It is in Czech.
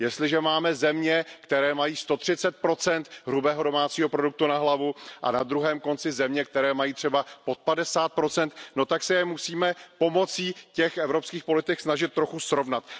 Jestliže máme země, které mají 130 hrubého domácího produktu na hlavu, a na druhém konci země, které mají třeba pod 50 tak se je musíme pomocí těch evropských politik snažit trochu srovnat.